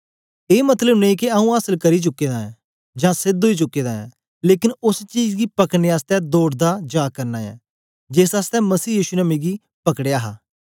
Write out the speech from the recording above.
ए मतलब नेई के आऊँ आसल करी चुके दा ऐं जां सेध ओई चुके दा ऐं लेकन ओस चीज गी पकड़ने आसतै दौड़दा जा करना ऐं जेस आसतै मसीह यीशु ने मिकी पकड़या हा